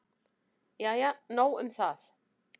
Jæja nóg um það.